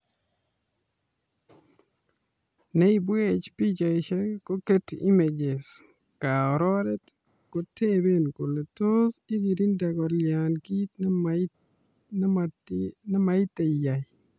Ne ibwech pichaisyek ko Getty Images. Kaororet kotebe kole tos igirinde kolya kiit ne maitet iyaiy